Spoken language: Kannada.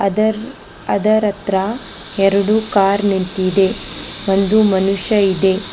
ಅದರ್ ಅದರತ್ರ ಎರಡು ಕಾರ್ ನಿಂತಿದೆ ಒಂದು ಮನುಷ್ಯ ಇದೆ.